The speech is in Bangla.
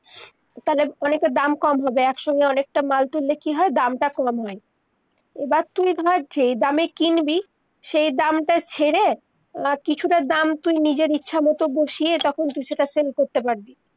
তালে অনেক তা দাম কম হবে, একসঙ্গে অনেক তা মাল তুললে কি হয়, দাম তা কম হয় এইবার তুই ধর যেই দামে কিনবি সেই দাম তা ছেড়ে, আহ কিছু তা দাম তুই নিজের ইচ্ছা মতো বসিয়ে তখন তুই সেইটা sell করতে পারবি